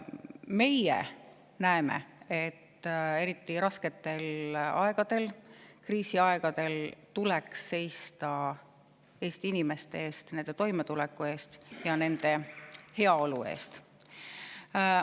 Meie näeme, et eriti rasketel aegadel, kriisiaegadel tuleks seista Eesti inimeste eest, nende toimetuleku eest ja nende heaolu eest.